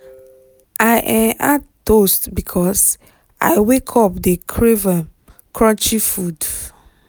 i um add toast because i wake up dey crave um crunchy food.